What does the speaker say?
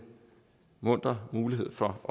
muntre mulighed for at